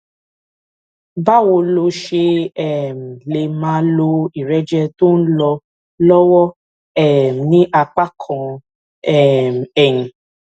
báwo lo ṣe um lè máa lo ìrẹjẹ tó ń lọ lówó um ní apá kan um ẹyin